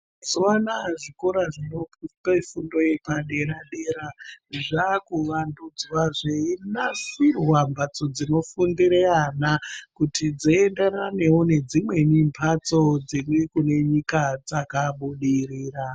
Mazuva anaya zvikoro zvinope fundo yepadera-dera. Zvakuvandudzwa zveinasirwa mbatso dzinofundire ana kuti dzienderanevo nedzimweni mhatso dziri kune nyika dzakabudirira.